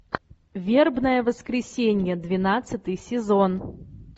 вербное воскресенье двенадцатый сезон